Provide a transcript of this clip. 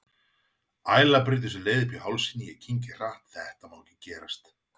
Æla brýtur sér leið upp í hálsinn, ég kyngi hratt, þetta má ekki gerast.